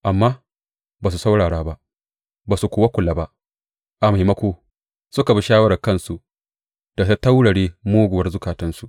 Amma ba su saurara ba, ba su kuwa kula ba; a maimako, suka bi shawarar kansu da ta taurare muguwar zukatansu.